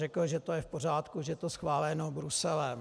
Řekl, že to je v pořádku, že je to schváleno Bruselem.